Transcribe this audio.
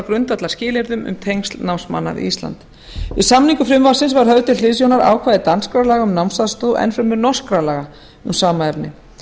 grundvallarskilyrðum um tengsl námsmanna við ísland við samningu frumvarpsins var höfð til hliðsjónar ákvæði danskra laga um námsaðstoð og enn fremur norskra laga um sama efni